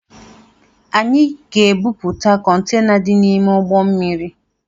Anyị ga-ebipụta Kọntena dị n’ime ụgbọ mmiri